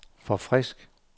forfrisk